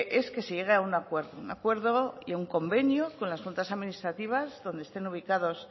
es que se llegue a un acuerdo y a un convenio con las juntas administrativas donde estén ubicados